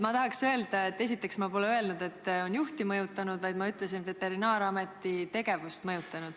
Ma tahaks öelda, et esiteks pole ma öelnud, et ta on juhti mõjutanud, vaid ma ütlesin, et on Veterinaar- ja Toiduameti tegevust mõjutanud.